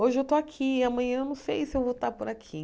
Hoje eu estou aqui, amanhã não sei se eu vou estar por aqui.